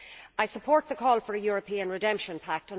I support the call for a European redemption pact.